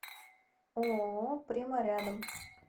ооо прима рядом